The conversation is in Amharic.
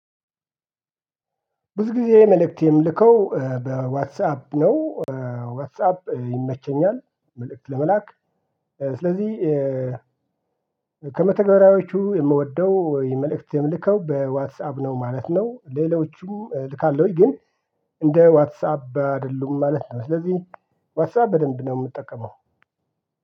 ብዙ ጊዜ መልእክት የምልከው በዋትሳፕ ነው። ዋትሳፕ ይመቸኛል መልእክት ለመላክ ስለዚህ ከመተግበሪያዎቹ የምወደው የመልእክት የምልከው በዋትስአፕ ነው ማለት ነው። ሌሎቹም እልካለሁኝ ግን እንደ ዋትስአፕ አይደሉም ማለት ነው። ስለዚህ ዋትሳብ በደንብ ነው የምጠቀመው